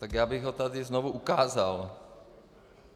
Tak já bych ho tady znovu ukázal.